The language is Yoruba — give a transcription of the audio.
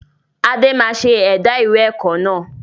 Adé máa ṣe ẹ̀dá ìwé ẹ̀kọ́ náà